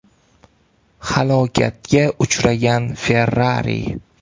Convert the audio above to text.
Halokatga uchragan Ferrari.